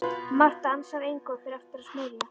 Marta ansar engu og fer aftur að smyrja.